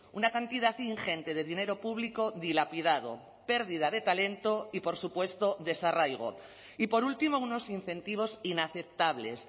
una cantidad ingente de dinero público dilapidado pérdida de talento y por supuesto desarraigo y por último unos incentivos inaceptables